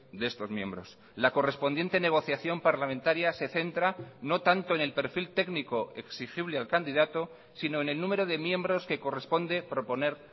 de estos miembros la correspondiente negociación parlamentaria se centra no tanto en el perfil técnico exigible al candidato sino en el número de miembros que corresponde proponer